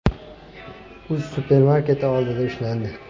uz ” supermarketi oldida ushlandi.